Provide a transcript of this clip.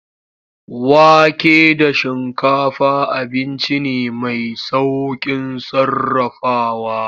Wake da shinkafa abinci ne mai saukin sarrafawa.